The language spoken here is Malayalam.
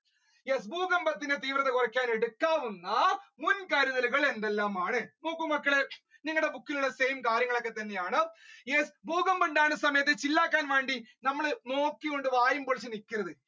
Yes ഭൂകമ്പത്തിന്റെ തീവ്രത കുറക്കാൻ എടുക്കാവുന്ന മുൻകരുതലുകൾ എന്തെല്ലാമാണ് നോക്കൂ മക്കളേ നിങ്ങളെ book ലുള്ള same കാര്യങ്ങൾ ഒക്കെ തന്നെയാണ് yes ഭൂകമ്പം ഉണ്ടാകുന്ന സമയത്ത് chill ആക്കാൻ വേണ്ടി നമ്മള് നോക്കി കൊണ്ട് വായും പൊളിച്ചൂ നിക്കരുത്,